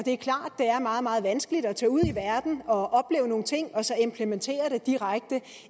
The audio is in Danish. meget meget vanskeligt at tage ud i verden og opleve nogle ting og så implementere det direkte